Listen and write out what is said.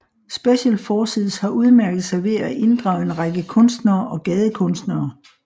Special Forces har udmærket sig ved at inddrage en række kunstnere og gadekunstnere